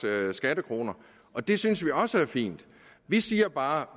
skattekroner og det synes vi også er fint vi siger bare at